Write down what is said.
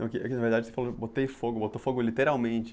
Na verdade, você falou que botou fogo literalmente.